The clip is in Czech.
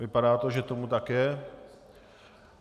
Vypadá to, že tomu tak je.